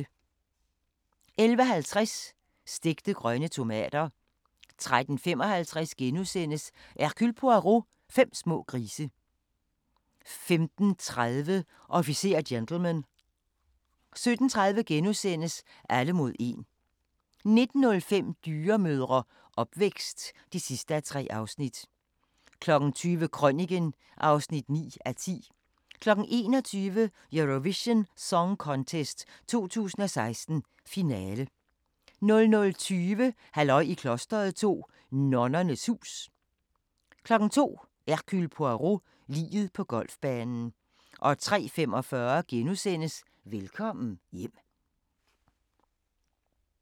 11:50: Stegte grønne tomater 13:55: Hercule Poirot: Fem små grise * 15:30: Officer og gentleman 17:30: Alle mod 1 * 19:05: Dyremødre – opvækst (3:3) 20:00: Krøniken (9:10) 21:00: Eurovision Song Contest 2016, finale 00:20: Halløj i klosteret 2 – Nonnernes hus 02:00: Hercule Poirot: Liget på golfbanen 03:45: Velkommen hjem *